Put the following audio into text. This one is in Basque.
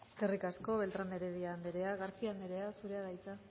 eskerrik asko beltrán de heredia anderea garcía anderea zurea da hitza